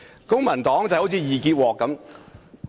公民黨好像"易潔鍋"......